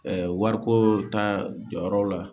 Ɛɛ wariko ta jɔyɔrɔ la